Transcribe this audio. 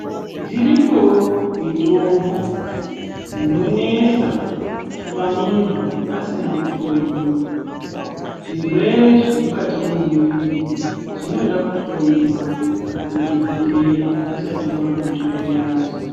Dzirikoo mitombo dzinonesa kupa muntu asina kuhloyiwa. Zvirwere zvemukati mwemuwiri zvinoda kuhloyiwa nadhokodheya usati wamwa mitombo yacho